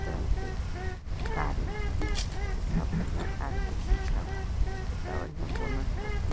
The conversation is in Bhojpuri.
कार लउकता केतना बढ़िया कार के सीसा बा केतना बढ़िया बोनेट के --